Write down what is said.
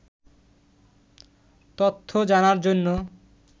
তথ্য জানার জন্য